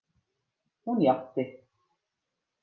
Hún játti.